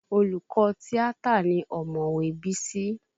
Olùkọ́ tíátà ni ọ̀mọ̀wé Bísí